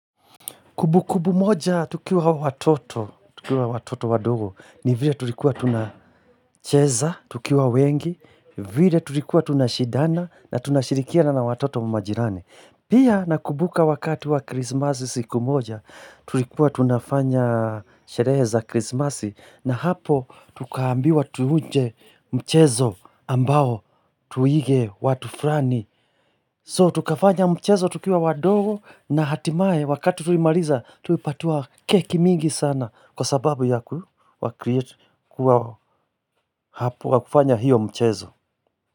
Kumbu kumbu moja tukiwa watoto, tukiwa watoto wadogo ni vile tulikuwa tunacheza, tukiwa wengi, vile tulikuwa tunashidana na tunashirikia na watoto majirani. Pia na mkubuka wakati wa krismasi siku moja, tulikuwa tunafanya sherehe za krismasi na hapo tukaambiwa tuuje mchezo ambao tuige watufurani. So tukafanya mchezo tukiwa wadogo na hatimaye wakati tulimaliza tulipatiwa keki mingi sana kwa sababu ya kufanya hiyo mchezo.